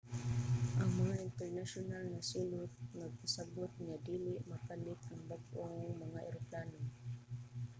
ang mga internasyonal nga silot nagpasabut nga dili mapalit ang bag-ong mga eroplano